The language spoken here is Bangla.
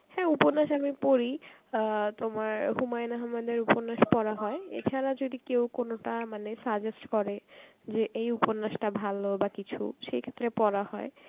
হ্যাঁ উপন্যাস আমি পড়ি, অ্যাঁ তোমার হুমায়ুন আহাম্মেদের উপন্যাস পড়া হয় এছাড়া যদি কেউ কোনোটা মানে suggest করে যে এই উপন্যাসটা ভালো বা কিছু সেই ক্ষেত্রে পড়া হয়.